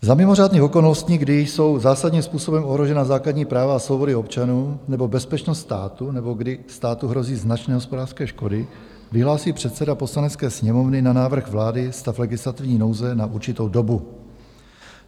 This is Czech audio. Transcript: Za mimořádných okolností, kdy jsou zásadním způsobem ohrožena základní práva a svobody občanů nebo bezpečnost státu nebo kdy státu hrozí značné hospodářské škody, vyhlásí předseda Poslanecké sněmovny na návrh vlády stav legislativní nouze na určitou dobu.